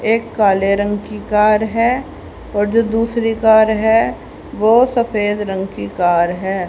एक काले रंग की कार है और जो दूसरी कार है वो सफेद रंग की कार है।